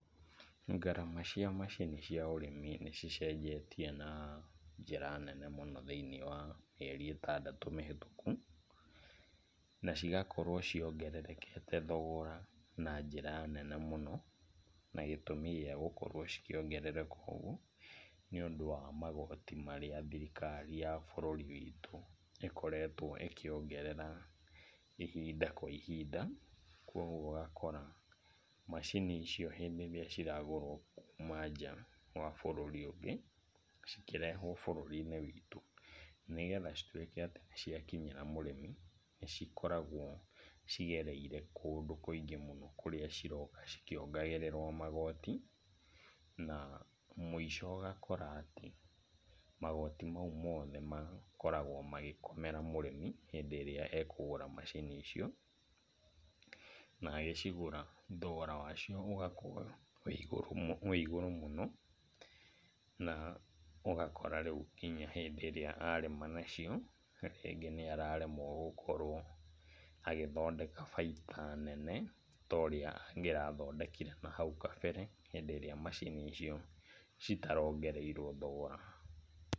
Ngarama cia macini cia ũrĩmi nĩ cicenjetie na njĩra nene mũno, thĩinĩ wa mĩeri ĩtandatũ mĩhĩtũkũ, na cigakorwo ciongerekete thogora na njĩra nene mũno. Na gĩtũmi gĩa gũkorwo cikĩongerereka ũguo, nĩũndũ wa magoti marĩa thirikari ya bũrũri witũ ĩkoretwo ĩkĩongerera ihinda kwa ihinda, koguo ũgakora macini icio hĩndĩ ĩrĩa ciragũrwo kuuma nja wa bũrũri ũngĩ, cikĩrehwo bũrũri-inĩ witũ, nĩgetha cituĩke atĩ nĩ ciakinyĩra mũrĩmi, nĩ cikoragwo cigereire kũndũ kũingĩ mũno kũrĩa ciroka cikĩongagĩrĩrwo magoti na mũico ũgakora atĩ, magoti mau mothe makoragwo magĩkomera mũrĩmi hĩndĩ ĩrĩa ekũgũra macini icio. Na agĩcigũra, thogora wacio ũgakorwo wĩigũrũ mũno, na ũgakora rĩu nginya hĩndĩ ĩrĩa arĩma nacio nĩ araremwo gũkorwo agĩthondeka bainda nene torĩa angĩrathondekire nahau kabere, hĩndĩ ĩrĩa macini icio citarongereirwo thogora.